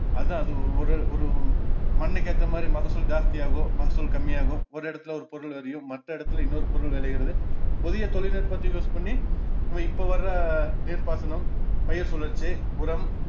அதான் அது ஒ~ ஒரு~ ஒரு மண்ணுக்கு ஏத்தமாதிரி மகசூல் ஜாஸ்தியாகும் மகசூல் கம்மியாகும் ஒரு எடத்துல ஒரு பொருள் விளையும் மற்ற இடத்துல இன்னோரு பொருள் விளையுறது புதிய தொழில்நுட்பத்தை use பண்ணி இந்த இப்போ வர்ற நீர்ப்பாசனம், பயிர் சுழற்சி, உரம்